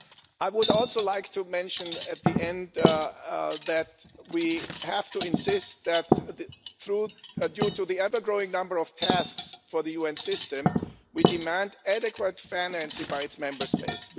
I would also like to mention at the end that we have to insist that, due to the ever growing number of tasks for the UN system, we demand adequate financing by its member states.